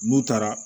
N'u taara